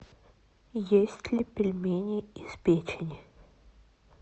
есть ли пельмени из печени